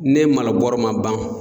Ne Mali bɔrɔ ma ban